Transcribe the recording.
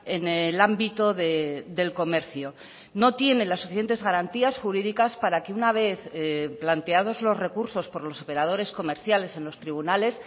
en el ámbito del comercio no tiene las suficientes garantías jurídicas para que una vez planteados los recursos por los operadores comerciales en los tribunales